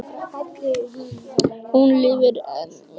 Hún lifir enn í hárri elli.